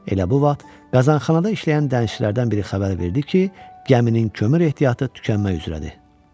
Elə bu vaxt qazanxanada işləyən dənizçilərdən biri xəbər verdi ki, gəminin kömür ehtiyatı tükənmək üzrədir.